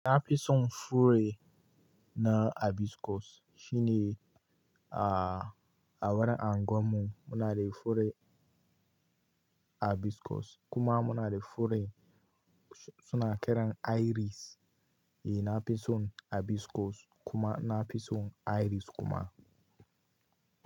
Na fi son fure na hibiscus shine, ah, a wurin anguwar mu muna da fure hibiscus kuma muna da fure suna kiran airis. Eh, na fi son hibiscus kuma na fi son airis kuma.